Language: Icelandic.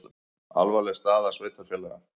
Alvarleg staða sveitarfélaga